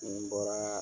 Ni n bɔra